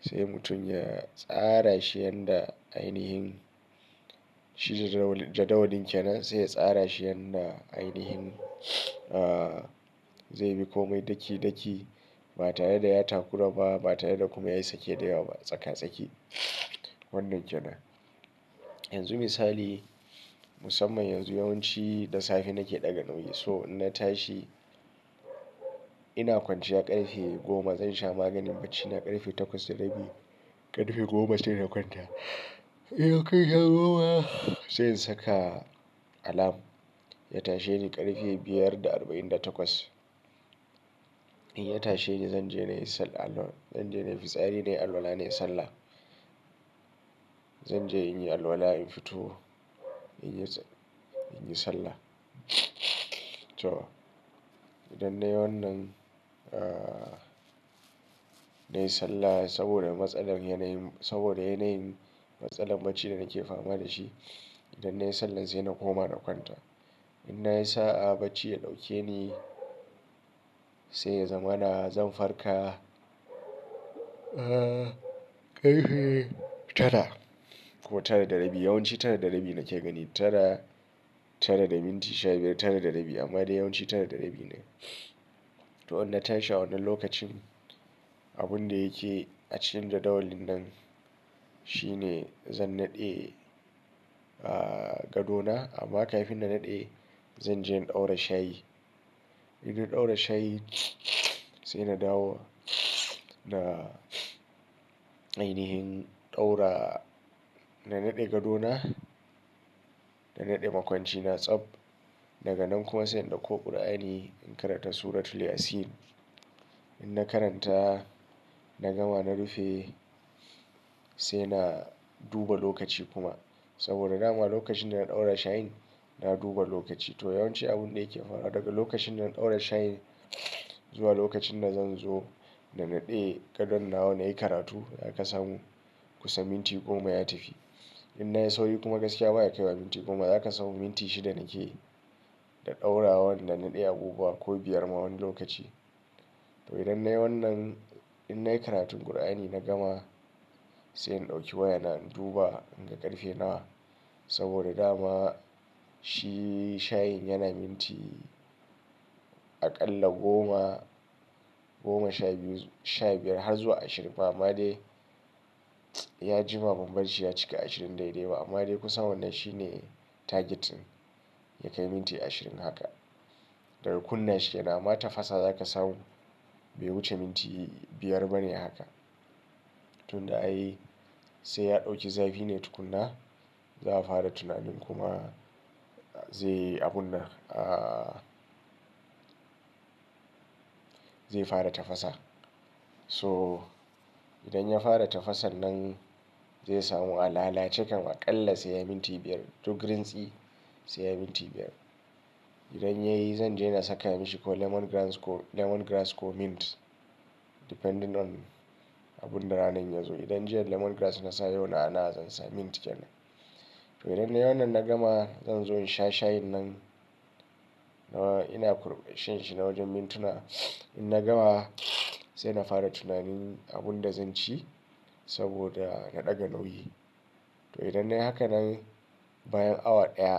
Sai mutum ya tsara shi yanda ainihin shi jadawalin ke nan sai ya tsara shi yanda ainihin zai bi komai daki daki ba tare da ya takura ba, ba tare da kuma yayi sake dayawa ba tsaka tsaki wannan ke nan. Yanzu misali musamman yanzu yawanci da safe nake ɗaga nauyi so in na tashi ina kwanciya ƙarfe goma zan sha maganin baci na ƙarfe takwas da rabi. Ƙarfe goma sai na kwanta. Sai in saka alarm. Ya tasheni ƙarfe biyar da arba'in da takwas. In ya tashe ne zan je na yi sallah. Zan je na yi fitsari na yi alwala na yi sallah. Zan je in yi alwala in fito in yi sallah. To idan na yi wannan na yi sallah saboda matsalar yanayin, saboda yanayin matsalar baci da nake fama da shi. Idan na yi sallar sai na koma na kwanta. In na yi sa'a bacci ya ɗauke ni sai ya zamana zan farka ƙarfe tara ko tara da rabi. Yawanci tara da rabi nake gani tara, tara da minti sha biyar tara da rabi amma dai yawanci tara da rabi ne. To in na tashi a wannan lokacin abun da yake a cikin jadawalin nan shine zan naɗe gadona amma kafin na naɗe zan je in ɗaura shayi. In na ɗaura shayi sai na dawo na ainihin ɗaura. Na naɗe gadona, na naɗe makwancina tsab daga nan kuma sai in ɗauko ƙur'ani in karanta suratul Yasin. In na karanta na gama na rufe sai na duba lokaci kuma saboda dama lokacin da na ɗaura shayin na duba lokaci. To yawanci abun da yake faruwa daga lokacin da na ɗaura shayin zuwa lokacin da zan zo na naɗe gadon nawa nayi karatu zaka samu kusa minti goma ya tafi. In na yi sauri kuma gaskiya baya kaiwa minti goma, zaka samu minti shida nakeyi da ɗaurawan da naɗe abubuwa ko biyar ma wani lokaci. To idan na yi wannan in na yi karatun ƙur'ani na gama sai in ɗauki wayana in duba in ga ƙarfe nawa saboda dama shi shayin yana minti aƙalla goma, goma sha biyu sha biyar har zuwa ashirin. Ba amma dai ya jima bambar shi ya cika ashirin daidai ba amma dai kusa wannan shine target din ya kai minti ashirin haka. Daga kunna shi ke nan, amma tafasa zaka samu bai wuce minti biyar bane haka. Tun da ai sai ya ɗauki zafi ne tukuna za'a fara tunanin kuma zai yi abun nan a zai fara tafasa. To idan ya fara tafasar nan zai samu a lalace kam aƙalla sai ya yi minti biyar duk rintsi sai ya yi minti biyar. Idan ya yi zan je na saka mashi ko lemongrass ko lemongrass ko mint depending on abun da ranan ya zo. Idan jiya lemongrass na sa yau na'ana'a zan sa mint ke nan. To idan na yi wannan na gama zan zo in sha shayin nan nawa ina kurpan shanshi na wajen mintuna. In na gama sai na fara tunanin abun da zan ci saboda na ɗaga nauyi. To idan na yi hakanan bayan awa ɗaya.